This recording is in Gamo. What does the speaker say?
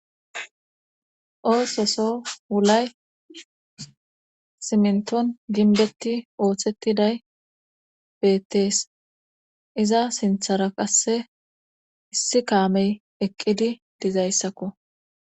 oososo wulay simnton ginbetti ooththettiday bettees iza sinthara qasse issi kaamey eqqidi dizayssakko